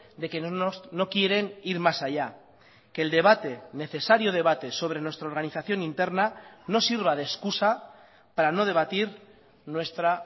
de que no quieren ir más allá que el debate necesario debate sobre nuestra organización interna no sirva de excusa para no debatir nuestra